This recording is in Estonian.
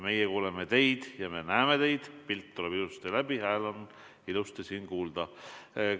Meie kuuleme teid ja me näeme teid, pilt tuleb ilusasti läbi, hääl on ilusasti kuulda.